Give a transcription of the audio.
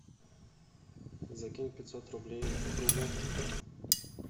закинь пятьсот рублей другу